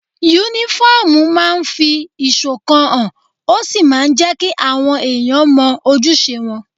Únífọ́ọ̀mù máa ń fi ìṣọ̀kan hàn, ó sì máa ń jẹ́ kí àwọn èèyàn mọ ojúṣe wọn